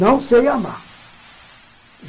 Não sei amar.